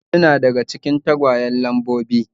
Ɗari huɗu na daga cikin tagwayen Lambobi.